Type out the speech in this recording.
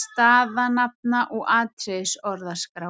staðanafna- og atriðisorðaskrár.